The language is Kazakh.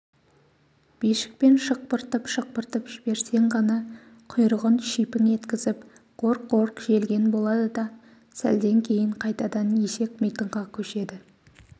бишікпен шықпыртып-шықпыртып жіберсең ғана құйрығын шипің еткізіп қорқ-қорқ желген болады да сәлден кейін қайтадан есек митыңға көшеді